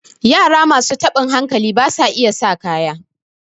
yara masu tabin hankali ba sa iya sa kaya